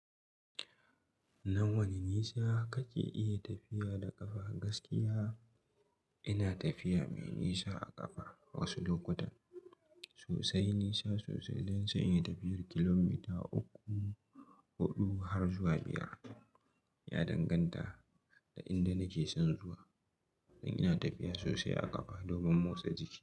Na wane nisa kake iya tafiya da ƙafa gaskiya? Ina tafiya mai nisa a ƙafa wasu lokutan. Sosai, nisa sosai don sai inyi tafiyar kilomita uku, huɗu har zuwa biyar. Ya danganta da inda nake son zuwa, don ina tafiya sosai a ƙafa domin motsa jiki.